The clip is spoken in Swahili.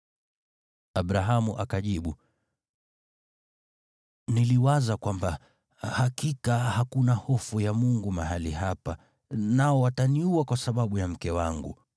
Abrahamu akajibu, “Niliwaza kwamba, ‘Hakika hakuna hofu ya Mungu mahali hapa, nao wataniua kwa sababu ya mke wangu.’